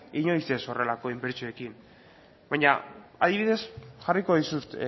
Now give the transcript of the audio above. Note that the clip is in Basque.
inoiz ez horrelako inbertsioekin baina adibidez jarriko dizut